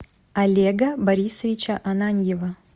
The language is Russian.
олега борисовича ананьева